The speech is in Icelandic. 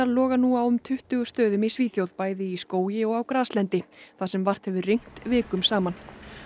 loga nú á um tuttugu stöðum í Svíþjóð bæði í skógi og á graslendi þar sem vart hefur rignt vikum saman